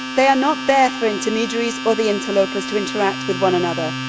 They are not there for intermediaries or the interlopers to interact with one another.